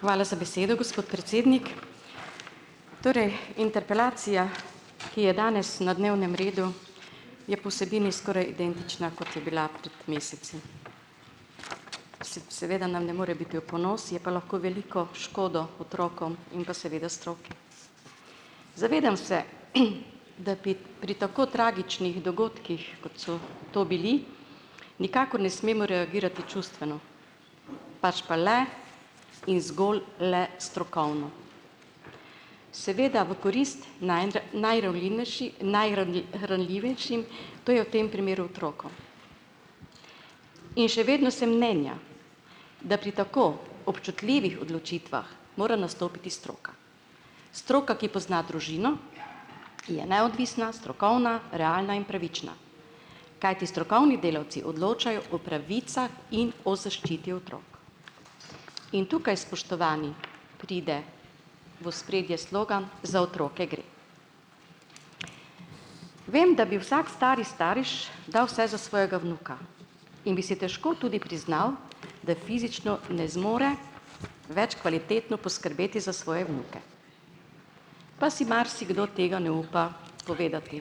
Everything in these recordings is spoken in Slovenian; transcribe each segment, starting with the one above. Hvala za besedo, gospod predsednik. Torej interpelacija, ki je danes na dnevnem redu, je po vsebini skoraj identična, kot je bila pred meseci. Seveda nam ne more biti v ponos, je pa lahko veliko škodo otrokom in pa seveda stroki. Zavedam se, da pi pri tako tragičnih dogodkih, kot so to bili, nikakor ne smemo reagirati čustveno, pač pa le in zgolj le strokovno. Seveda v korist, to je v tem primeru otrokom. In še vedno sem mnenja, da pri tako občutljivih odločitvah mora nastopiti stroka. Stroka, ki pozna družino, je neodvisna, strokovna, realna in pravična, kajti strokovni delavci odločajo o pravicah in o zaščiti otrok. In tukaj, spoštovani, pride v ospredje slogan "Za otroke gre". Vem, da bi vsak stari starš dal vse za svojega vnuka in bi si težko tudi priznal, da fizično ne zmore več kvalitetno poskrbeti za svoje vnuke. Pa si marsikdo tega ne upa povedati,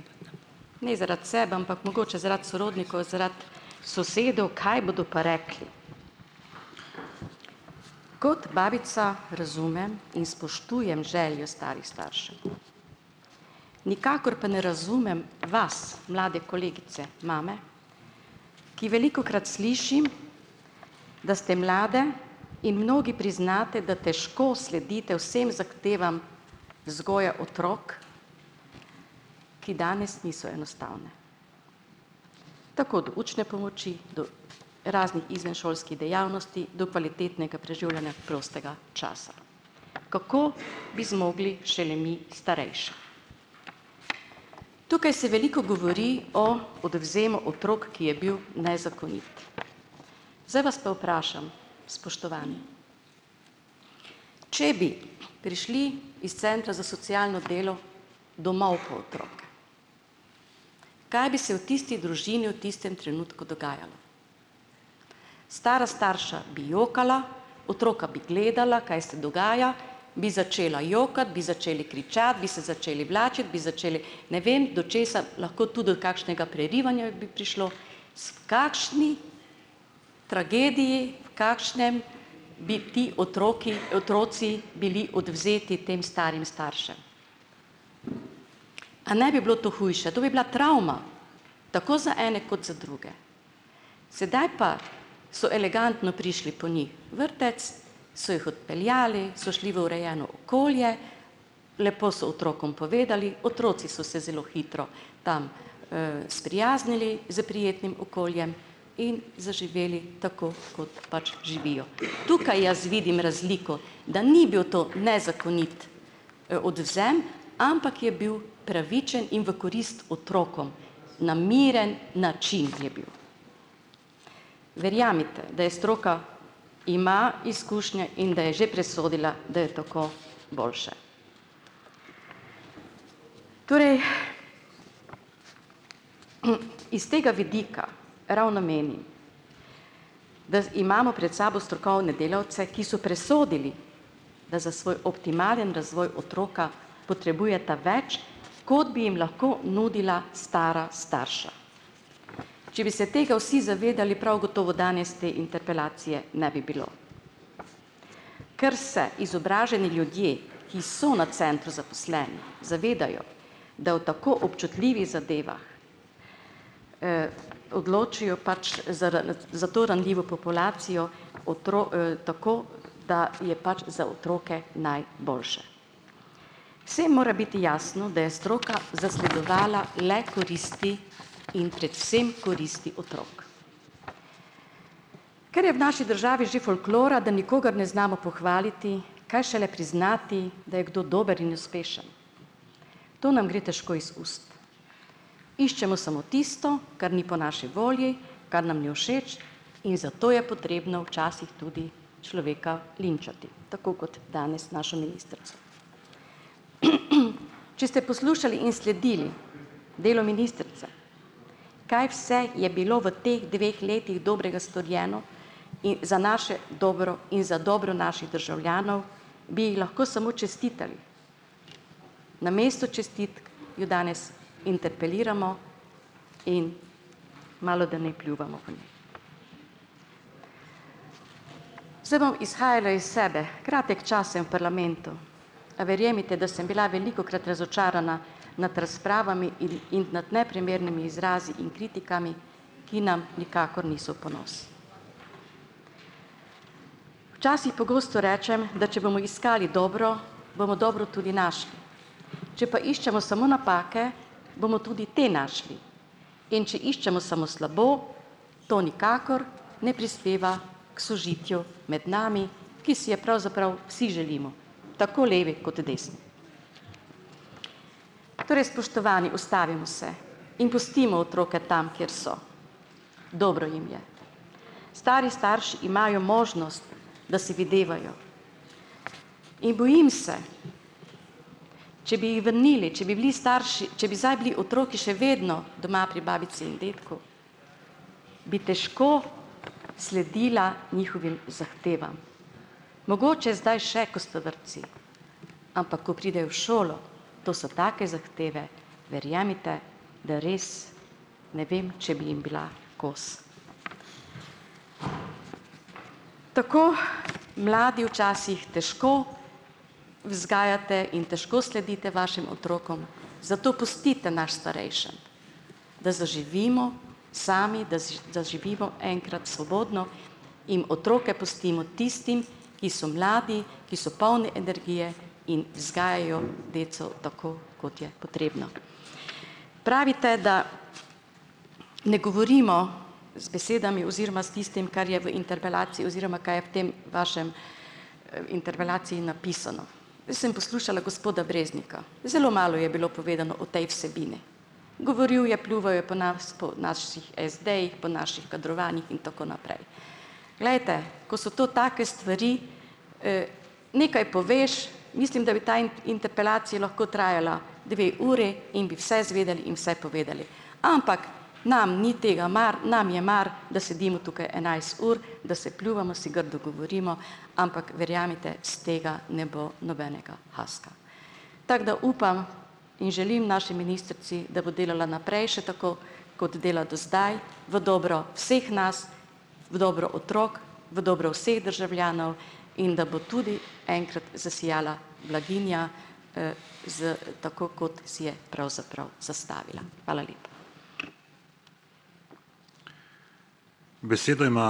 ne zaradi sebe, ampak mogoče zaradi sorodnikov, zaradi sosedov, kaj bodo pa rekli. Kot babica razumem in spoštujem željo starih staršev, nikakor pa ne razumem vas, mlade kolegice mame, ki velikokrat slišim, da ste mlade in mnogi priznate, da težko sledite vsem zahtevam vzgoje otrok, ki danes niso enostavne, tako od učne pomoči, do raznih izvenšolskih dejavnosti, do kvalitetnega preživljanja prostega časa. Kako bi zmogli šele mi starejši? Tukaj se veliko govori o odvzemu otrok, ki je bil nezakonit. Zdaj vas pa vprašam, spoštovani. Če bi prišli iz centra za socialno delo domov po otroke, kaj bi se v tisti družini v tistem trenutku dogajalo? Stara starša bi jokala, otroka bi gledala, kaj se dogaja, bi začela jokati, bi začeli kričati, bi se začeli vlačiti, bi začeli, ne vem do česa, lahko tu do kakšnega prerivanja bi prišlo. Kakšni tragediji, v kakšnem bi ti otroki otroci bili odvzeti tem starim staršem? A ne bi bilo to hujše, to bi bila travma, tako z ene kot z druge. Sedaj pa so elegantno prišli po njih vrtec, so jih odpeljali, so šli v urejeno okolje, lepo so otrokom povedali, otroci so se zelo hitro tam, sprijaznili s prijetnim okoljem in zaživeli tako, kot pač živijo. Tukaj jaz vidim razliko, da ni bil to nezakonit, odvzem, ampak je bil pravičen in v korist otrokom. Na miren način je bil. Verjemite, da je stroka ima izkušnje in da je že presodila, da je toliko boljše. Torej, iz tega vidika ravno meni, da imamo pred sabo strokovne delavce, ki so presodili, da za svoj optimalen razvoj otroka potrebujeta več, kot bi jim lahko nudila stara starša. Če bi se tega vsi zavedali, prav gotovo danes te interpelacije ne bi bilo. Ker se izobraženi ljudje, ki so na centru zaposleni, zavedajo, da o tako občutljivih zadevah odločijo pač za to ranljivo populacijo tako, da je pač za otroke najboljše. Vsem mora biti jasno, da je stroka zasledovala le koristi in predvsem koristi otrok . Ker je v naši državi že folklora, da nikogar ne znamo pohvaliti, kaj šele priznati, da je kdo dober in uspešen. To nam gre težko iz ust. Iščemo samo tisto, kar ni po naši volji, kar nam ni všeč, in zato je potrebno včasih tudi človeka linčati, tako kot danes našo ministrico. Če ste poslušali in sledili delo ministrice, kaj vse je bilo v teh dveh letih dobrega storjeno za naše dobro in za dobro naših državljanov, bi ji lahko samo čestitali. Namesto čestitk jo danes interpeliramo in malodane pljuvamo. Zdaj bom izhajala iz sebe. Kratek čas sem v parlamentu. Verjemite, da sem bila velikokrat razočarana nad razpravami, neprimernimi izrazi in kritikami, ki nam nikakor niso v ponos. Včasih pogosto rečem, da če bomo iskali dobro, bomo dobro tudi našli. Če pa iščemo samo napake, bomo tudi te našli, in če iščemo samo slabo, to nikakor ne prispeva k sožitju med nami, ki si je pravzaprav vsi želimo, tako levi kot desni. Torej spoštovani, ustavimo se in pustimo otroke tam, kjer so. Dobro jim je. Stari starši imajo možnost, da se videvajo. In bojim se, če bi jih vrnili, če bi bili starši, če bi zdaj bili otroci še vedno doma pri babici in dedku, bi težko sledila njihovim zahtevam. Mogoče zdaj še, ko sta vrtcu, ampak ko pride v šolo, to so take zahteve, verjemite, da res ne vem, če bi jim bila kos. Tako mladi včasih težko vzgajate in težko sledite vašim otrokom, zato pustite nas starejše, da zaživimo sami, da enkrat svobodno in otroke pustimo tistim, ki so mladi, ki so polni energije, in deco tako, kot je potrebno. Pravite, da ne govorimo z besedami oziroma s tistim, kar je v interpelaciji oziroma kaj je v tej vaši, interpelaciji napisano. Jaz sem poslušala gospoda Breznika. Zelo malo je bilo povedano o tej vsebini. Govoril je, pljuval je po nas, po naših SD-jih po, naših kadrovanjih in tako naprej. Glejte, ko so to take stvari. Nekaj poveš, traja dve uri in bi vse zvedeli in vse povedali. Ampak, nam ni tega mar, nam je mar, da sedimo tukaj enajst ur, da se pljuvamo, si grdo govorimo, ampak verjemite, iz tega ne bo nobenega haska. Tako da upam in želim naši ministrici, da bo delala naprej še tako, kot dela do zdaj v dobro vseh nas, v dobro otrok, v dobro vseh državljanov in da bo tudi enkrat zasijala blaginja za, tako kot si je pravzaprav zastavila. Hvala lepa.